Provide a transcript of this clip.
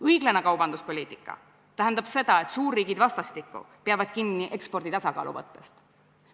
Õiglane kaubanduspoliitika tähendab seda, et suurriigid vastastikku peavad kinni ekspordi tasakaalu põhimõttest.